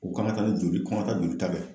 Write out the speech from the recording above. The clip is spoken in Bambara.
O k'an ga taa ni joli k'an ga taa jolita kɛ